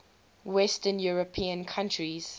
western european countries